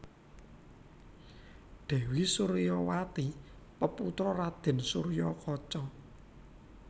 Dèwi Suryawati peputra Raden Suryakaca